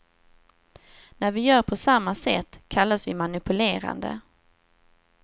När vi gör på samma sätt kallas vi manipulerande.